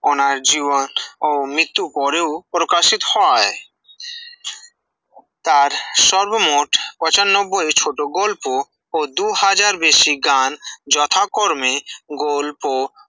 ওনার জীবন ও মৃততূর পরে ও প্রকাশিত হয়ে, তার সর্বমোট পচানব্বই ছোট গল্প ও দু হাজার বেশি গান যথাকর্মে গল্প